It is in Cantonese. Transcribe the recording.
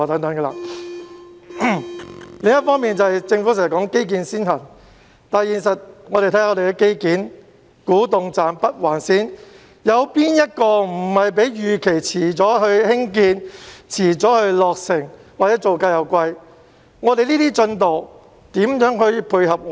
另一方面，政府經常說基建先行，但實際上，看看香港的基建，例如古洞站和北環線，哪個項目的興建和落成不是較預期遲，又或造價高昂。